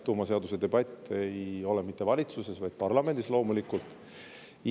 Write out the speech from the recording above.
Tuumaseaduse debatt ei ole mitte valitsuses, vaid loomulikult parlamendis.